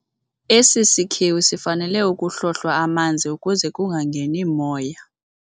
Esi sikhewu sifanele ukuhlohlwa amanzi ukuze kungangeni moya.